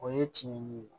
O ye tiɲɛ ye